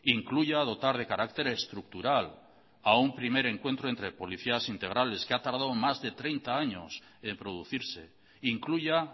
incluya dotar de carácter estructural a un primer encuentro entre políticas integrales que ha tardado más de treinta años en producirse incluya